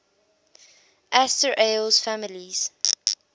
asterales families